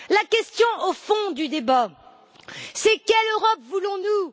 La question au fond du débat, c'est quelle Europe voulons nous?